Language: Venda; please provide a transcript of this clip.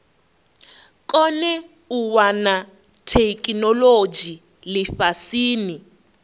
kone u wana theikinolodzhi lifhasini